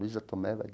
Luiza Tomé vai